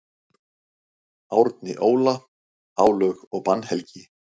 Árni Óla: Álög og bannhelgi.